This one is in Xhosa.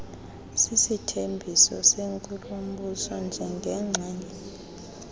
sisithembiso senkulumbuso njengengxenye